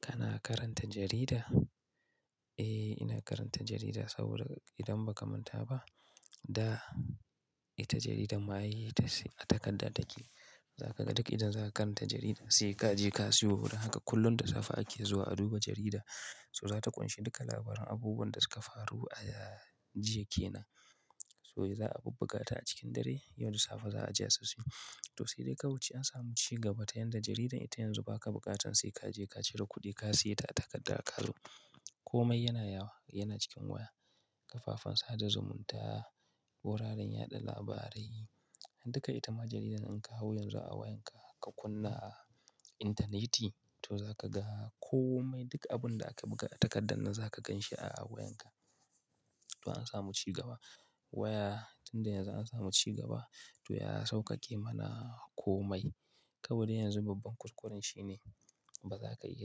Kana karanta jarida? Eh, ina karanta jarida saboda idan baka manta ba, ita jarida ma ai takarda take. Duk idan za ka karanta jarida sai ka je ka siyo. Don haka kullum da safe ake zuwa a duba jarida. So zata ƙunshi duka labaran abubuwan da suka faru a jiya ke nan. So za a bubbuga ta a cikin dare. Yau da safe za'a je a siyo. To sai dai kawai ce samu ci gaba ta yadda jaridar ita yanzu ba ka buƙatan sai ka je ka cire kuɗi ka siya ta a takardar ka zo. Komai yana yawo, yana cikin waya. Kafafen sada zumunta, wuraren yaɗa labarai, duka ita ma jaridan in ka hau yanzu a wayanka ka kunna a intaneti to za ka ga kome duk abun da aka buga a takardar nan za ka gan shi a wayanka. To an samu ci gaba. Waya tunda yanzu an samu ci gaba to ya sauƙaƙe mana komai. Kabi da yanzu babban kuskuren shi ne baza ka iya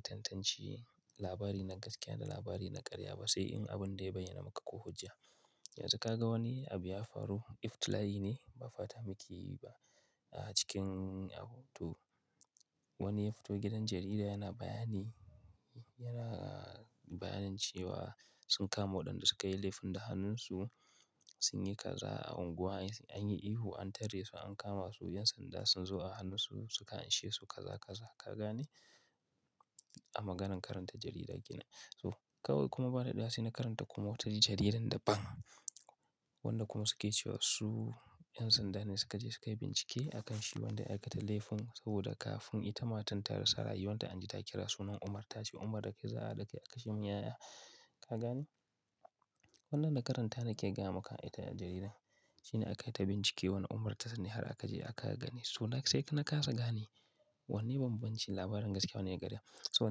tantance labari na gaskiya da labari na ƙarya ba sai in abun dai ya bayyana maka ko hujja. Yanzu ka ga wani abu ya faru, iftila'i ne ba fata muke yi ba a cikin hoto. Wani ya fito gidan jarida yana bayani, yana bayanin cewa sun kama waɗanda suka yi laifin da hannunsu sunyi kaza a unguwa an yi ihu an tare su an kama su. 'Yan sanda sun zo a hannunsu suka anshe su kaza kaza. Ka gane? A maganan karanta jarida kenan. Toh, kawai kuma ba daɗewa shine karanta kuma wata jaridar daban. Waɗanda kuma suke cewa su 'yan sanda ne suka je suka bincike a kan shi wanda aka ta laifin saboda kafun ita matar ta rasa rai wanda an ji ta kira sunan Umar ta ce Umar da kai za'a hade kai kashi min ya'ya. Ka gane? Wannan da karanta nake gaya maka ita jaridan. Shine aka yi ta bincike wani Umar ta sani har aka je aka gani. To sai na kasa gane. Wanne bambancin labarin gaskiya wanne ƙarya? So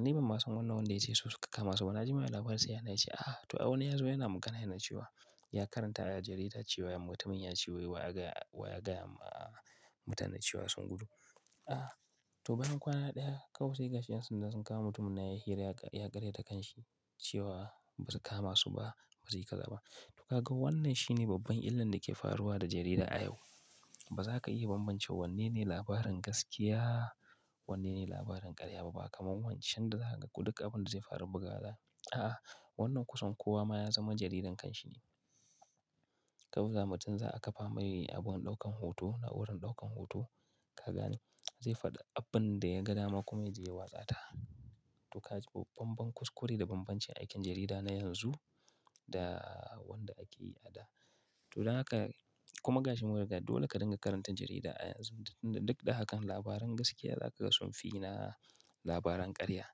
ni ban ma san wannan wanda ce su suka kama ba? Wannan jima'i labarin sai ya na ce ah to wani ya zo yana magana yana cewa ya karanta a jarida cewa ya mutumin ya ce wai wa ya gaya wa ya gaya ma mutanen cewa sun gudu. Wannan jima'i labarin sai ya na ce ah to wani ya zo yana magana yana cewa ya karanta a jarida cewa ya mutumin ya ce wai wa ya gaya wa ya gaya ma mutanen cewa sun gudu. To ka ga wannan shine babban illar da ke faruwa da jarida a yau. Ba za ka iya bambance wanne ne labarin gaskiya wanne ne labarin ƙarya ba. Ba kamar wancan da za ka ga duk abin da zai faru bugawa za'ayi. A'a wannan kusan kowa ma ya zama jaridar kanshi ne. Kawai mutum za'a kafa mai abun ɗaukan hoto a wurin ɗaukan hoto. Ka gane? Zai faɗi abin da ya ga dama kuma yaje ya watsa ta. To ka ji babban kuskure da bambancin aikin jarida na yanzu da wanda ake yi a da. To don haka kuma gashi mun riga dole ka dinga karanta jarida a yanzu. Duk da hakan labaran gaskiya za ka ga sun fi na labaran ƙarya.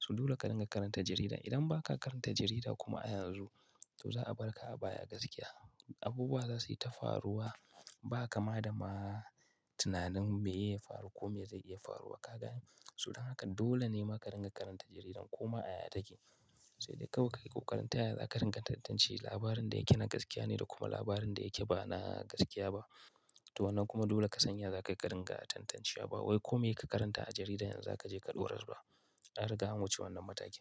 So dole ka dinga karanta jarida. Idan ba ka karanta jarida kuma a yanzu to za a bar ka a baya gaskiya. Abubuwa za su yi ta faruwa ba kama da ma tunanin me ya faru ko me zai iya faruwa, ka gane? So don haka dole ne ma ka dinga karanta jarida koma a yaya take. Sai dai kawai kayi kokarin taya zaka dinga tantance labarin da yake na gaskiya ne da kuma labarin da yake ba na gaskiya ba. To wannan kuma dole ka san ya zakayi ka dinga tantancewa. Baiwai kome ka karanta a jarida yanzu za ka je ka dorar ba. An riga an wuce wannan matakin.